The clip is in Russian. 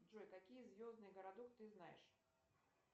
джой какие звездные городок ты знаешь